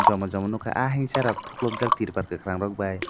joma joma nogke ahhingsa rok tupolok jak tirbal kikorang rok bai.